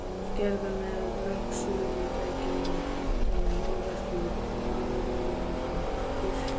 gerðar með logsuðutækjum og málverk úr álímdum pappír.